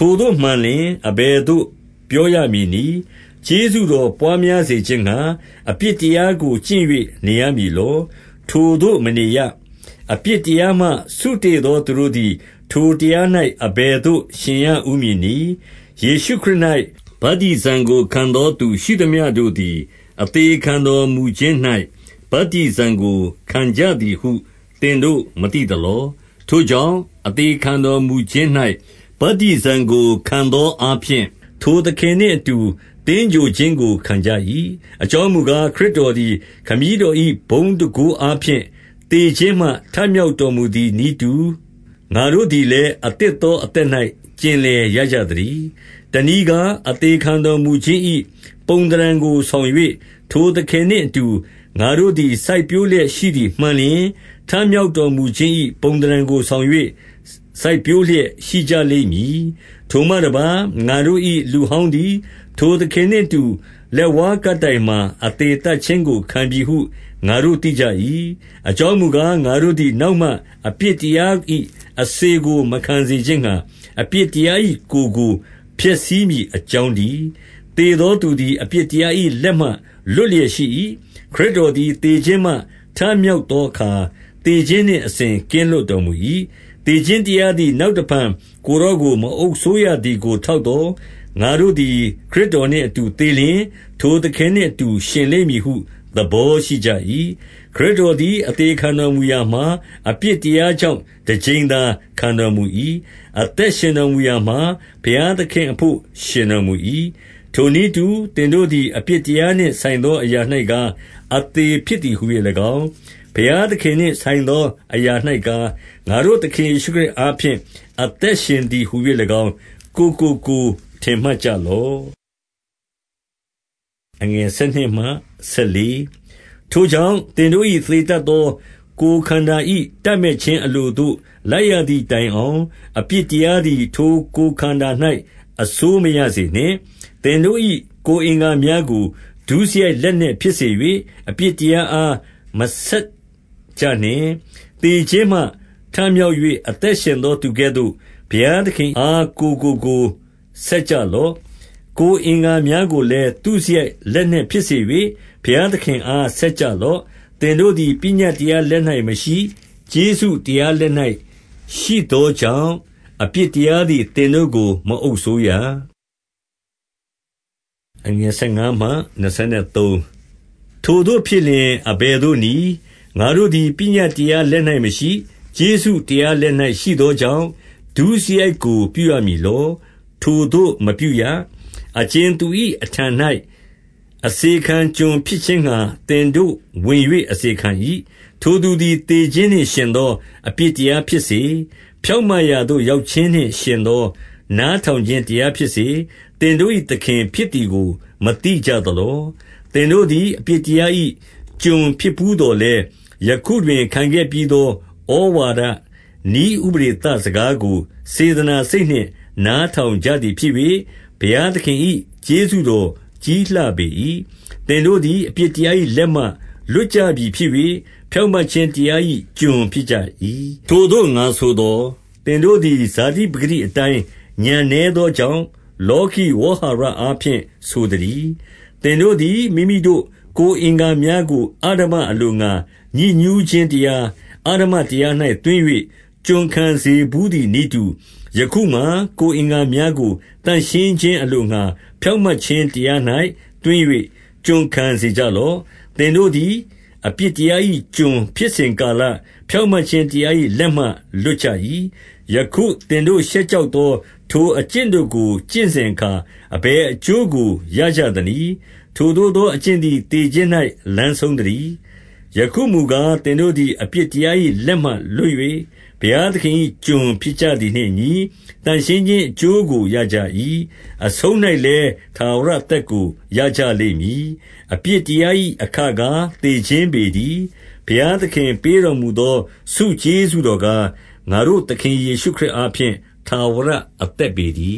ိုသို့မှန်လျှင်၊ အဘယ်သို့ပြောရမည်နည်း။ ကျေးဇူးတော်ပွါးများစေခြင်းငှါ အပြစ်တရားကို ကျင့်၍ နေရမည်လော။ ထိုသို့မနေရ။ အပြစ်တရားမှ စုတေ့သောသူတို့ သည် ထိုတရား၌ အဘယ်သို့ ရှင်ရဦးမည်နည်း။ ယေရှုခရစ်၌ ဗတ္တိဇံကိုခံသောသူရှိသမျှတို့သည် အသေခံတော်မူခြင်း၌ ဗတ္တိဇံကိုခံကြသည်ဟု သင်တို့ မသိသလော။ ထိုကြောင့်၊ အသေခံတော်မူခြင်း၌ ဗတ္တိဇံကို ခံသောအားဖြင့်၊ ထိုသခင်နှင့် အတူသင်္ဂြိုဟ်ခြင်းကို ခံကြ၏။ အကြောင်းမူကား၊ ခရစ်တော်သည် ခမည်းတော်၏ ဘုန်းတန်ခိုးအားဖြင့် သေခြင်းမှထမြောက်တော် မူသည်နည်းတူ၊ ငါတို့သည်လည်း အသစ်သောအသက်၌ ကျင်လည်ရကြသတည်း။ တနည်းကား၊ အသေခံတော်မူခြင်း၏ ပုံသဏ္ဌာန်ကိုဆောင်၍၊ ထိုသခင်နှင့်အတူ ငါတို့သည် စိုက်ပျိုးလျက်ရှိသည် မှန်လျှင်၊ ထမြောက်တော်မူခြင်း၏ ပုံသဏ္ဌာန်ကိုဆောင်၍ စိုက်ပျိုးလျက်ရှိကြလိမ့်မည်။ ထိုမှတပါး၊ ငါတို့၏လူဟောင်းသည် ထိုသခင်နှင့်အတူ လက်ဝါးကပ်တိုင်မှာ အသေသတ်ခြင်းကို ခံပြီဟု ငါတို့သိကြ၏။ အကြောင်းမူကား၊ ငါတို့သည် နောက်မှ အပြစ်တရား၏အစေကို မခံစေခြင်းငှါ၊ အပြစ်တရား၏ ကိုယ်ကို ဖျက်ဆီးမည်အကြောင်းတည်း။ သေသောသူသည် အပြစ်တရား၏ လက်မှ လွတ်လျက်ရှိ၏။ ခရစ်တော်သည် သေခြင်းမှထမြောက်သောအခါ၊ သေခြင်းနှင့် အစဉ်ကင်းလွတ်တော်မူ၏။ သေခြင်းတရားသည် နောက်တဖန်ကိုယ်တော်ကို မအုပ်စိုးရသည်ကို ထောက်သော်၊ ငါတို့သည် ခရစ်တော်နှင့် အတူသေလျှင်၊ ထိုသခင်နှင့်အတူ ရှင်လိမ့်မည်ဟုသဘော ရှိကြ၏။ ခရစ်တော်သည် အသေခံတော်မူရာမှာ၊ အပြစ်တရားကြောင့် တကြိမ်သာခံတော်မူ၏။ အသက် ရှင်တော်မူရမှာ၊ ဘုရားသခင့်အဘို့ ရှင်တော်မူ၏။ ထိုနည်းတူ သင်တို့သည် အပြစ်တရားနှင့် ဆိုင်သောအရာ၌ကား၊ အသေဖြစ်သည်ဟူ၍၎င်း၊ ဘုရားသခင်နှင့်ဆိုင်သောအရာ၌ကား၊ ငါတို့သခင် ယေရှုခရစ်အားဖြင့် အသက်ရှင်သည်ဟူ၍၎င်း၊ ကိုယ်ကိုကိုယ် ထင်မှတ်ကြလော့။ ထိုကြောင့်၊ သင်တို့၏သေတတ်သော ကိုယ်ခန္ဓာ၏တပ်မက်ခြင်းအလိုသို့ လိုက်ရသည်တိုင်အောင်၊ အပြစ်တရားသည် ထိုကိုယ်ခန္ဓာ၌ အစိုးမရစေနှင့်။ သင်တို့၏ကိုယ်အင်္ဂါများကို ဒုစရိုက်လက်နက် ဖြစ်စေ၍၊ အပြစ်တရားအား မဆက်ကြနှင့်။ သေခြင်းမှ ထမြောက်၍ အသက်ရှင်သောသူကဲ့သို့၊ ဘုရားသခင်အား ကိုယ်ကိုကိုယ်ဆက်ကြလော့။ ကိုယ်အင်္ဂါများကိုလည်း သုစရိုက်လက်နက် ဖြစ်စေ၍၊ ဘုရားသခင်အားဆက်ကြလော့။ သင်တို့သည် ပညတ်တရားလက်၌မရှိ၊ ကျေးဇူးတရားလက်၌ရှိသောကြောင့် အပြစ်တရားသည် သင်တို့ကို မအုပ်စိုးရ။ ထိုသို့ဖြစ်လျှင် အဘယ်သို့နည်း၊ ငါတို့သည် ပညတ်တရားလက်၌ရှိသောကြောင့်၊ ဒုစရိုက်ကို ပြုရမည် လော။ ထိုသို့မပြုရ။ အကြင်သူ၏အထံ၌ အစေခံကျွန်ဖြစ်ခြင်းငှါ သင်တို့ဝင်၍ အစေခံ၏၊ ထိုသူသည်သေခြင်းနှင့် ယှဉ်သော အပြစ်တရားဖြစ်စေ၊ ဖြောင့်မတ်ရာသို့ ရောက်ခြင်းနှင့်ယှဉ်သော နားထောင်ခြင်း တရားဖြစ်စေ၊ သင်တို့၏သခင်ဖြစ်သည်ကို မသိကြသလော။ သင်တို့သည် အပြစ်တရား၏ ကျွန်ဖြစ်ဘူးသော်လည်း၊ ယခုတွင်ခံခဲ့ပြီးသော ဩဝါဒနည်းဥပဒေသ စကားကို စေတနာစိတ်နှင့် နားထောင်ကြသည်ဖြစ်၍၊ ဘုရားသခင်၏ကျေးဇူးတော်ကြီးလှပေ၏။ သင်တို့သည် အပြစ်တရား၏ လက်မှလွတ်ကြပြီဖြစ်၍၊ ဖြောင့်မတ်ခြင်းတရား၏ ကျွန်ဖြစ်ကြ၏။ ထိုသို့ ငါဆိုသော်၊ သင်တို့ဇာတိပကတိအတိုင်း ဥာဏ်နည်းသောကြောင့်၊ လောကီဝေါဟာရအားဖြင့် ဆိုသတည်း။ သင်တို့သည် မိမိတို့ ကိုယ်အင်္ဂါများကို အဓမ္မ အလိုငှါ ညစ်ညူးခြင်းတရား၊ အဓမ္မတရား၌ သွင်း၍ ကျွန်ခံစေကြလော့။ သင်တို့သည် အပြစ်တရား၏ ကျွန်ဖြစ်စဉ် ကာလ၊ ဖြောင့်မတ်ခြင်းတရား၏လက်မှ လွတ်ကြ၏။ ယခု သင်တို့ရှက်ကြောက်သော ထိုအကျင့်တို့ကို ကျင့်စဉ်အခါ၊ အဘယ်အကျိုးကိုရကြသနည်း။ ထိုသို့သောအကျင့်သည် သေခြင်း၌ လမ်းဆုံးသတည်း။ ယခုမူကား၊ သင်တို့သည် အပြစ်တရား၏ လက်မှလွှတ်၍၊ ဘုရားသခင်၏ ကျွန်ဖြစ်ကြသည်နှင့် အညီ၊ သန့်ရှင်းခြင်းအကျိုးကိုရကြ၏။ အဆုံး၌လည်း ထာဝရအသက်ကို ရကြလိမ့်မည်။ အပြစ်တရား၏ အခကားသေခြင်းပေတည်း။ ဘုရားသခင်ပေးတော်မူသော ဆုကျေးဇူးတော်ကား၊ ငါတို့ သခင်ယေရှုခရစ်အားဖြင့် ထာဝရ အသက်ပေတည